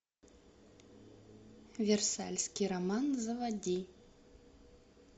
версальский роман заводи